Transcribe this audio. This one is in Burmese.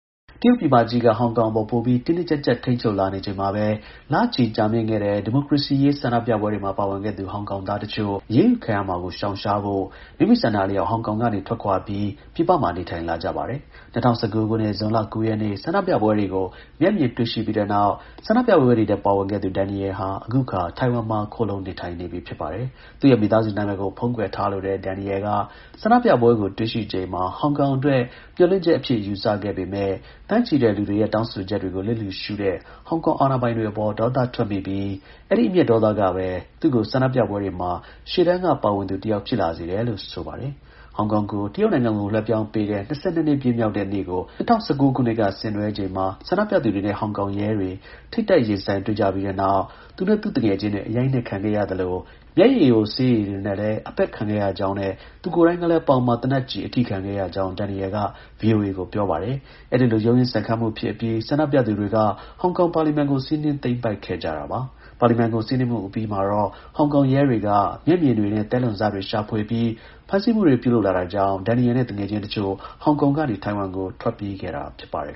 တရုတ်ပြည်မကြီးက ဟောင်ကောင်အပေါ် ပိုပြီး တင်းတင်းကျပ်ကျပ် ထိန်းချုပ်လာနေချိန်မှာပဲ လချီ ကြာမြင့်ခဲ့တဲ့ ဒီမိုကရေစီရေး ဆန္ဒပြပွဲတွေမှာ ပါဝင်ခဲ့သူ ဟောင်ကောင်သား တစ်ချို့ ၁၀ နှစ်အထိ ထောင်ဒဏ်ကျခံရနိုင်တဲ့ ဆူပူမှု ပြစ်မှုတွေနဲ့ အရေးယူခံရမှာကို ရှောင်ရှားဖို့ မိမိဆန္ဒအလျောက် ဟောင်ကောင်က ထွက်ခွာပြီး ပြည်ပမှာ နေထိုင်လာကြ ပါတယ်။ ၂၀၁၉ ခုနှစ်၊ ဇွန်လ ၉ ရက်နေ့ ဆန္ဒပြပွဲတွေကို မျက်မြင်တွေ့ရှိ ခဲ့ပြီးနောက် ဆန္ဒပြပွဲတွေထဲ ပါဝင်ခဲ့သူ Daniel ဟာ အခုအခါ ထိုင်ဝမ်မှာ ခိုလှုံနေထိုင်နေပြီ ဖြစ်ပါတယ်။ သူရဲ့ မိသားစု နာမည်ကို ဖုံးကွယ်ထားလိုတဲ့ Daniel က ဆန္ဒပြပွဲကို တွေ့ရှိချိန်မှာ ဟောင်ကောင် အတွက် မျှော်လင့်ချက်အဖြစ် ယူဆခဲ့ပေမဲ့ သန်းချီတဲ့ လူတွေရဲ့ တောင်းဆိုချက်တွေကို လစ်လျူရှုတဲ့ ဟောင်ကောင် အာဏာပိုင်တွေအပေါ် ဒေါသထွက်မိတယ်လို့လည်း ပြောပါတယ်။ အဲဒီ အမျက် ဒေါသကပဲ သူ့ကို ဆန္ဒပြပွဲတွေမှာ ရှေ့တန်းက ပါဝင်သူ တစ်ယောက် ဖြစ်လာစေတယ်လို့ ဆိုပါတယ်။ ဟောင်ကောင်ကို တရုတ်နိုင်ငံကို လွှဲပြောင်းပေးခဲ့တဲ့ ၂၂ နှစ်ပြည့်မြောက်တဲ့နေ့ကို ၂၀၁၉ ခုနှစ်က ဆင်နွှဲချိန်မှာ ဆန္ဒပြသူတွေနဲ့ ဟောင်ကောင်ရဲတွေ ထိပ်တိုက်ရင်ဆိုင်တွေ့ကြပြီးတဲ့နောက် သူနဲ့ သူ့သူငယ်ချင်းတွေ အရိုက်အနှက်ခံရသလို မျက်ရည်ယို ဆေးရည်တွေနဲ့လည်း အပက်ခံခဲ့ရကြောင်းနဲ့ သူကိုယ်တိုင်ကလည်း ပေါင်မှာ သေနတ်ကျည် အထိခံခဲ့ကြောင်း Daniel က VOA ကို ပြောပါ တယ်။ အဲဒီလို ရုန်းရင်းဆန်ခတ်မှုဖြစ် အပြီး ဆန္ဒပြသူတွေက ဟောင်ကောင် ပါလီမန်ကို စီးနင်း သိမ်းပိုက် ခဲ့ကြတာပါ။ ပါလီမန်ကို စီးနင်းမှု အပြီးမှာတော့ ဟောင်ကောင်ရဲတွေက မျက်မြင်တွေနဲ့ သဲလွန်စတွေ ရှာဖွေပြီး ဖမ်းဆီး ပြုလုပ်လာခဲ့တာကြောင့် Daniel နဲ့ သူငယ်ချင်းတစ်ချို့ ဟောင်ကောင်ကနေ ထိုင်ဝမ်ကို ထွက်ပြေးခဲ့တာ ဖြစ်ပါတယ်